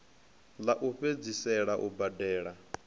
ḽa u fhedzisela u badela